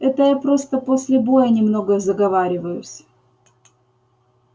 это я просто после боя немного заговариваюсь